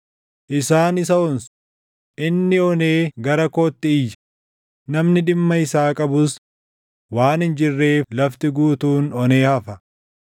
Isaan isa onsu; inni onee gara kootti iyya; namni dhimma isaa qabus waan hin jirreef lafti guutuun onee hafa.